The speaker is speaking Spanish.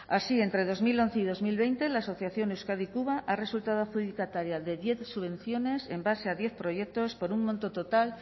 así entre dos mil once y dos mil veinte la asociación euskadi cuba ha resultado adjudicataria de diez subvenciones en base a diez proyectos por un monto total